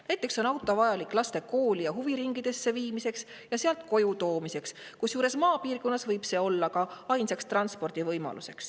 Näiteks on auto vajalik laste kooli ja huviringidesse viimiseks ning koju toomiseks, kusjuures maapiirkonnas võib olla ainus transpordivõimalus.